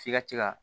F'i ka se ka